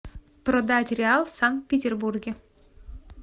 продать реал в санкт петербурге